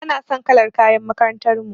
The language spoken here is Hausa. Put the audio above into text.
Bana son kalar kayan makarantar mu.